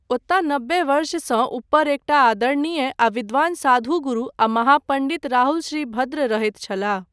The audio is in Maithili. ओतय नब्बे वर्षसँ ऊपर एकटा आदरणीय आ विद्वान साधु गुरु आ महापण्डित राहुलश्रीभद्र रहैत छलाह।